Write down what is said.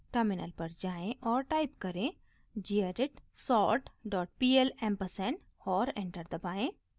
terminal पर जाएँ और टाइप करें: gedit sortpl ampersand और एंटर दबाएं